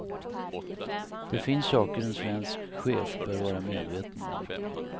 Det finns saker en svensk chef bör vara medveten om.